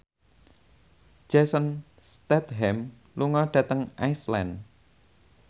Jason Statham lunga dhateng Iceland